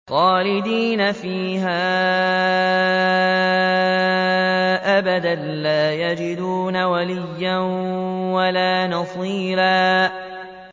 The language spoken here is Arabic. خَالِدِينَ فِيهَا أَبَدًا ۖ لَّا يَجِدُونَ وَلِيًّا وَلَا نَصِيرًا